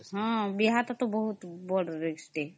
ବିହା ତା ବଡ risk